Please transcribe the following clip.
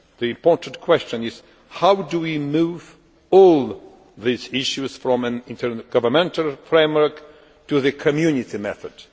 The important question is how do we move all these issues from an intergovernmental framework to the Community method?